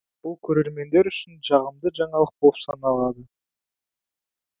бұл көрермендер үшін жағымды жаңалық болып саналады